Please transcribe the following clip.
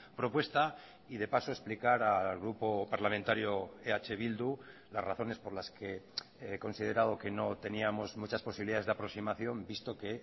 propuesta y de paso explicar al grupo parlamentario eh bildu las razones por las que he considerado que no teníamos muchas posibilidades de aproximación visto que